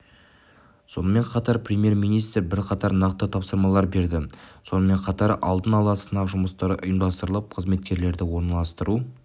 сонымен қатар премьер-министр бірқатар нақты тапсырмалар берді сонымен қатар алдын ала сынақ жұмыстары ұйымдастырылып қызметкерлерді орналастыру